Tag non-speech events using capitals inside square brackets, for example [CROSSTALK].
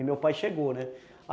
[UNINTELLIGIBLE] meu pai chegou, né?